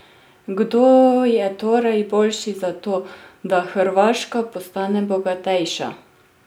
Kdo je torej boljši za to, da Hrvaška postane bogatejša?